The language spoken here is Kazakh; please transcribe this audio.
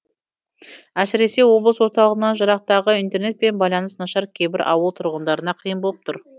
әсіресе облыс орталығынан жырақтағы интернет пен байланыс нашар кейбір ауыл тұрғындарына қиын боп тұр